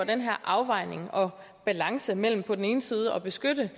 den her afvejning og balance mellem på den ene side at beskytte